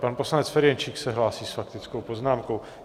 Pan poslanec Ferjenčík se hlásí s faktickou poznámkou.